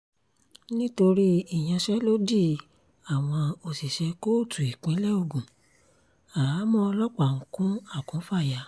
nítorí ìyanṣẹ́lódì àwọn òṣìṣẹ́ kóòtù ìpínlẹ̀ ogun àhámọ́ ọlọ́pàá ń kún akùnfàyà